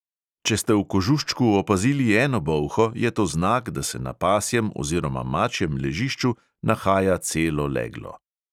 Če ste v kožuščku opazili eno bolho, je to znak, da se na pasjem oziroma mačjem ležišču nahaja celo leglo.